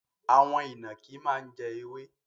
Àwon ìnànkí má n jẹ ewé